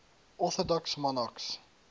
orthodox monarchs